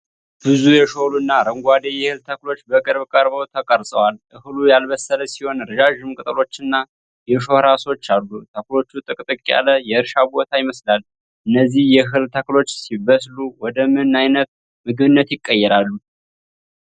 ብዙ የሾሉና አረንጓዴ የእህል ተክሎች በቅርብ ቀርበው ተቀርጸዋል። እህሉ ያልበሰለ ሲሆን ረዣዥም ቅጠሎችና የሾህ ራሶች አሉ። ተክሎቹ ጥቅጥቅ ያለ የእርሻ ቦታ ይመስላል። እነዚህ የእህል ተክሎች ሲበስሉ ወደ ምን አይነት ምግብነት ይቀየራሉ?